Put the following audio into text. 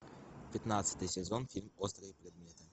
пятнадцатый сезон фильм острые предметы